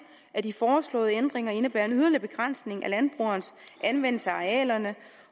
at de foreslåede ændringer indebærer en yderligere begrænsning af landbrugerens anvendelse af arealerne